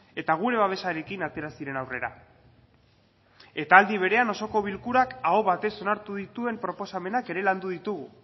eta gure babesarekin atera ziren aurrera eta aldi berean osoko bilkurak aho batez onartu dituen proposamenak ere landu ditugu